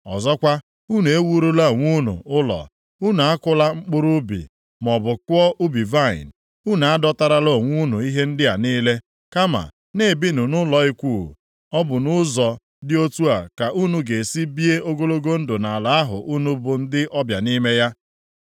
Ọzọkwa, unu ewurula onwe unu ụlọ, unu akụla mkpụrụ ubi, maọbụ kụọ ubi vaịnị. Unu adọtarala onwe unu ihe ndị a niile, kama na-ebinụ nʼụlọ ikwuu. Ọ bụ nʼụzọ dị otu a ka unu ga-esi bie ogologo ndụ nʼala ahụ unu bụ ndị ọbịa nʼime ya.’